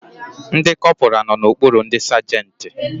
Ndi kọpura no n'okpuru ndi sagenti